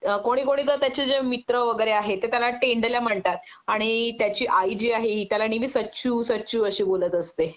कोणी कोणी जे त्याचे मित्र वगैरे आहेत ते त्याला तेंडल्या म्हणतात आणि त्याची आई जी आहे हि त्याला नेहमी सचू सचू अशी बोलत असते